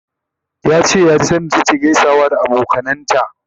yace ya ji sanda take ta gaisawa da abokanan ta